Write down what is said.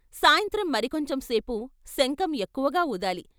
సాయంత్రం మరికొంచెంసేపు శంఖం ఎక్కువగా వూదాలి....